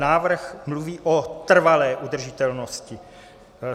Návrh mluví o trvalé udržitelnosti.